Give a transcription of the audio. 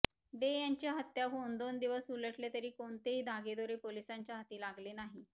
day यांची हत्या होऊन दोन दिवस उलटले तरी कोणतेही धागेदोरे पोलिसांच्या हाती लागले नाही